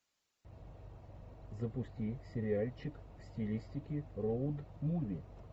запусти сериальчик в стилистике роуд муви